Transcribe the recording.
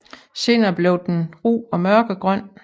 Senere bliver den ru og mørkegrøn